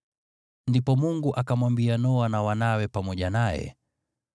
Ndipo Mungu akamwambia Noa na wanawe pamoja naye: